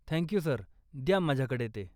Thank you, sir, द्या माझ्याकडे ते.